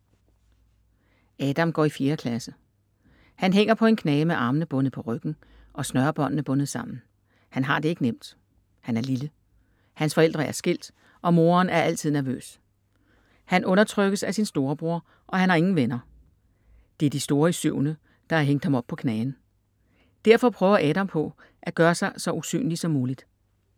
Adam går i fjerde klasse. Han hænger på en knage med armene bundet på ryggen og snørebåndene bundet sammen. Han har det ikke nemt. Han er lille. Hans forældre er skilt og moren er altid nervøs. Han undertrykkes af sin storebror og han har ingen venner. Det er de store i syvende, der har hængt ham op på knagen. Derfor prøver Adam på at gøre sig så usynlig som muligt.